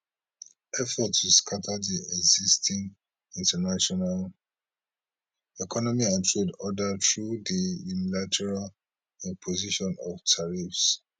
effort to scata di existing international economy and trade order through di unilateral imposition of tariffs